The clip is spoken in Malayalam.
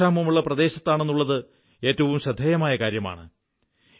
അത് ജലക്ഷാമമുള്ള പ്രദേശത്താണുള്ളത് എന്നതാണ് ഏറ്റവും ശ്രദ്ധേയമായ കാര്യം